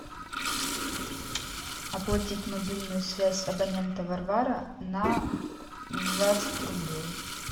оплатить мобильную связь абонента варвара на двадцать рублей